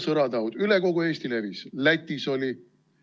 Levis üle kogu Eesti, ka Lätis oli.